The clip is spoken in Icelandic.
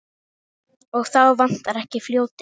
Og þá vantar ekki fljótið.